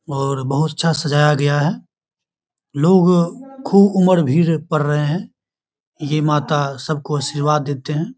और बहुत अच्छा से सजाया गया है लोग खूब उम्र भीड़ पर रहे है। ये माता सबको आशीर्वाद देते है।